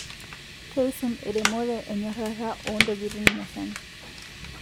keisum eremore enyorara oontokitin musan